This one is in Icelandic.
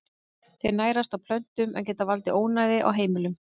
Þeir nærast á plöntum en geta valdið ónæði á heimilum.